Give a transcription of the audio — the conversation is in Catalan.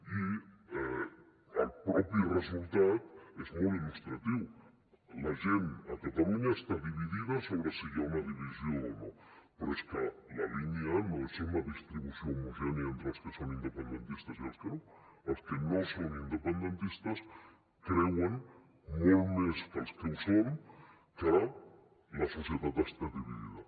i el mateix resultat és molt il·lustratiu la gent a catalunya està dividida sobre si hi ha una divisió o no però és que la línia no és una distribució homogènia entre els que són independentistes i els que no els que no són independentistes creuen molt més que els que ho són que la societat està dividida